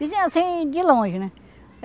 Vizinha, assim, de longe, né?